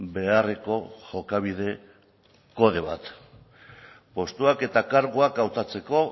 beharreko jokabide kode bat postuak eta karguak hautatzeko